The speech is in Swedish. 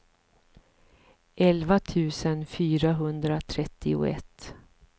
elva tusen fyrahundratrettioett